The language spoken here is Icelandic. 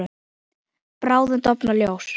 Bráðum dofnar ljós.